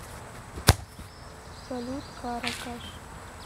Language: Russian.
салют кара каш